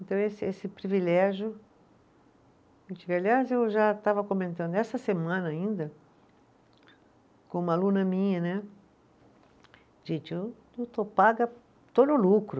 Então, esse esse privilégio, aliás, eu já estava comentando, essa semana ainda, com uma aluna minha né, gente, eu, eu estou paga, estou no lucro.